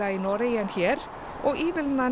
í Noregi en hér og ívilnanir